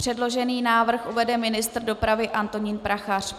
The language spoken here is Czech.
Předložený návrh uvede ministr dopravy Antonín Prachař.